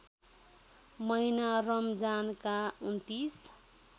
महिना रमजानका २९